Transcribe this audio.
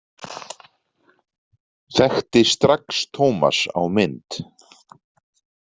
Þekkti strax Tómas á mynd.